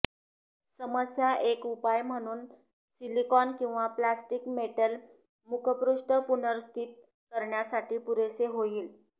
समस्या एक उपाय म्हणून सिलिकॉन किंवा प्लास्टिक मेटल मुखपृष्ठ पुनर्स्थित करण्यासाठी पुरेसे होईल